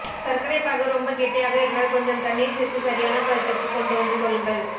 சர்க்கரை பாகு ரொம்ப கெட்டியாக இருந்தால் கொஞ்சம் தண்ணீர் சேர்த்து சரியான பதத்திற்கு கொண்டு வந்து கொள்ளுங்கள்